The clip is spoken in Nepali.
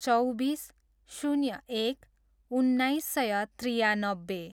चौबिस, शून्य एक, उन्नाइस सय त्रियानब्बे